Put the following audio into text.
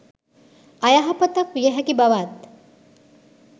අයහපතක් විය හැකි බවත්